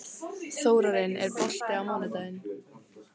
Þórarinn, er bolti á mánudaginn?